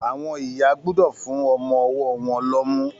Àwọn ìyá gbúdọ̀ fún ọmọ-ọwọ́ won lọ́mú